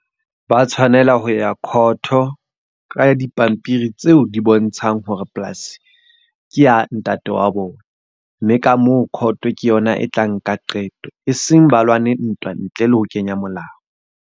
Ba tshwanela ho ya court-o ka dipampiri tseo di bontshang hore polasi ke ya ntate wa bona. Mme ka moo court ke yona e tla nka qeto. E seng ba lwane ntwa ntle le ho kenya molao.